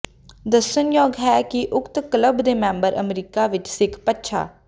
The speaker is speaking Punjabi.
ਦੱਸਣਯੋਗ ਹੈ ਕਿ ਉਕਤ ਕਲੱਬ ਦੇ ਮੈਂਬਰ ਅਮਰੀਕਾ ਵਿੱਚ ਸਿੱਖ ਪਛਾ